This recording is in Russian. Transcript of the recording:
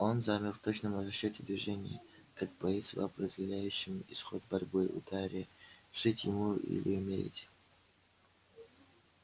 он замер в точном расчёте движения как боец в определяющем исход борьбы ударе жить ему или умереть